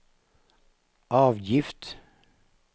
avgift